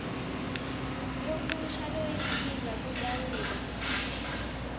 lomusha loyinsika kutawuba